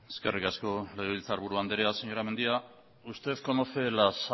eskerrik asko legebiltzarburu andrea señora mendia usted conoce las